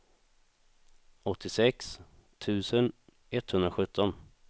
åttiosex tusen etthundrasjutton